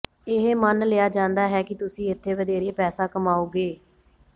ਇਹ ਮੰਨ ਲਿਆ ਜਾਂਦਾ ਹੈ ਕਿ ਤੁਸੀਂ ਇੱਥੇ ਵਧੇਰੇ ਪੈਸਾ ਕਮਾਓਗੇ